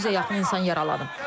600-ə yaxın insan yaralanıb.